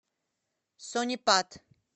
сонипат